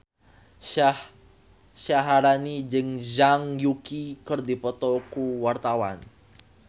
Syaharani jeung Zhang Yuqi keur dipoto ku wartawan